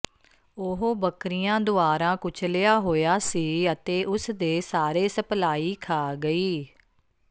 ਉਹ ਬੱਕਰੀਆਂ ਦੁਆਰਾ ਕੁਚਲਿਆ ਹੋਇਆ ਸੀ ਅਤੇ ਉਸਦੇ ਸਾਰੇ ਸਪਲਾਈ ਖਾ ਗਈ